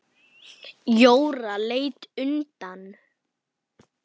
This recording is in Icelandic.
Jóra leit undan.